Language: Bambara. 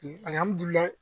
alihamudulila